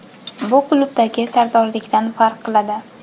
Bu klubdagi sardorlikdan farq qiladi.